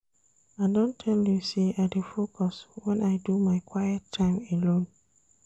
I don tell you sey I dey focus wen I do my quiet time alone.